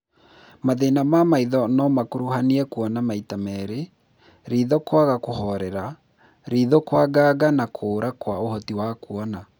Mathĩna ma maitho no makuruhanie kuona maita merĩ, ritho kwaga kũhorera, ritho kwanganga na kũra kwa ũhoti wa kuona